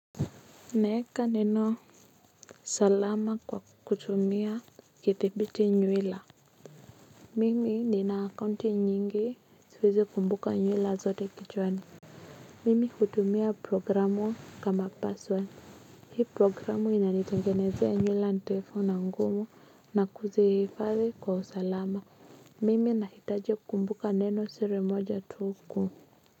Naeka nino salama kwa kutumia kitibiti nywila. Mimi nina account nyingi siwezi kumbuka nywila zote kichwani. Mimi hutumia programu kama password. Hii programu inanitengenezea nywila ndefu na ngumu na kuzifanya kwa salama. Mimi nahitaji kumbuka neno siri moja tu.